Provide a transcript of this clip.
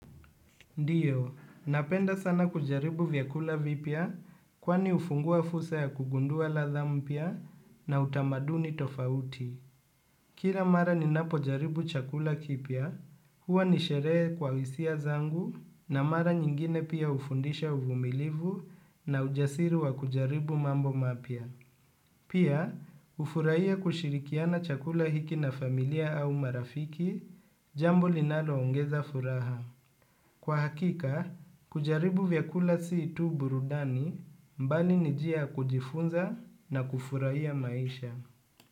Ndiyo, napenda sana kujaribu vyakula vipia kwani ufungua fursa ya kugundua la tha mpia na utamaduni tofauti. Kira mara ni napojaribu chakula kipia, huwa nisheree kwa isia zangu na mara nyingine pia ufundisha uvumilivu na ujasiri wa kujaribu mambo mapia. Pia, ufuraia kushirikiana chakula hiki na familia au marafiki, jambo linalo ongeza furaha. Kwa hakika, kujaribu vyakula situ burudani mbali nijia kujifunza na kufuraiya maisha.